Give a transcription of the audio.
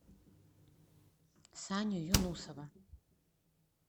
саню юнусова